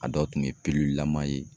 A dɔw tun ye la man ye.